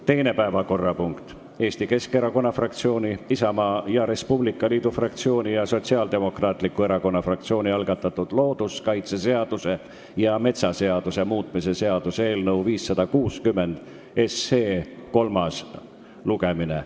Teine päevakorrapunkt on Eesti Keskerakonna fraktsiooni, Isamaa ja Res Publica Liidu fraktsiooni ning Sotsiaaldemokraatliku Erakonna fraktsiooni algatatud looduskaitseseaduse ja metsaseaduse muutmise seaduse eelnõu 560 kolmas lugemine.